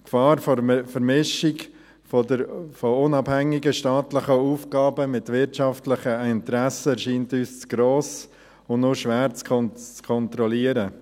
Die Gefahr einer Vermischung unabhängiger staatlicher Aufgaben mit wirtschaftlichen Interessen erscheint uns zu gross und nur schwer zu kontrollieren.